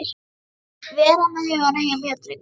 Vera með hugann heima hjá drengnum.